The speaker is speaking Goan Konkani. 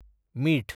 मीठ